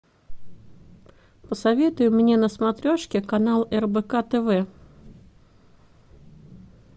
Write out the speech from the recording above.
посоветуй мне на смотрешке канал рбк тв